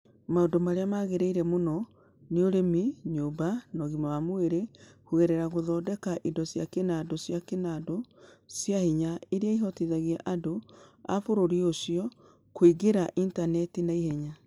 Maũndũ marĩa magĩrĩire mũno nĩ ũrĩmi, nyũmba, na ũgima wa mwĩrĩ kũgerera gũthondeka indo cia kĩnandũ cia kĩnandũ cia hinya iria ihotithagia andũ a bũrũri ũcio kũingĩra Intaneti-inĩ na ihenya.